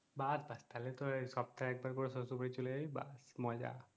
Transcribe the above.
বাত ভার তাইলে তো সপ্তাহে একবার করে শ্বশুর বাড়ি চলে যাবি বাত মজা